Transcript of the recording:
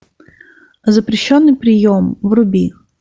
запрещенный прием вруби